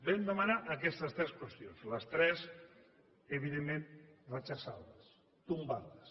vam demanar aquestes tres qüestions les tres evidentment refusades tombades